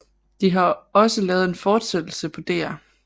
De har også lavet en fortsættelse på Dr